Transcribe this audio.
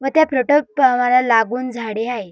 व त्या पेट्रोल पंपाला लागून झाडी आहे.